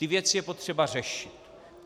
Ty věci je potřeba řešit.